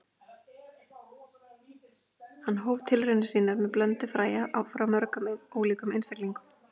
Hann hóf tilraunir sínar með blöndu fræja frá mörgum ólíkum einstaklingum.